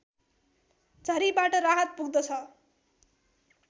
झरीबाट राहत पुग्दछ